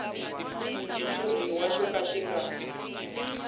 xitshuriwa xo ka xi nga